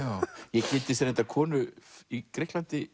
ég kynntist reyndar konu í Grikklandi